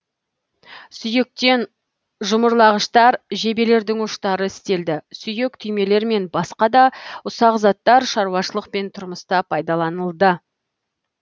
сүйектен жұмырлағыштар жебелердің ұштары істелді сүйек түймелер мен баска да ұсақ заттар шаруашылық пен тұрмыста пайдаланылды